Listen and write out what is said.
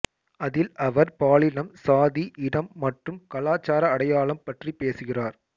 அதில் அவர் பாலினம் சாதி இனம் மற்றும் கலாச்சார அடையாளம் பற்றி பேசுகிறார்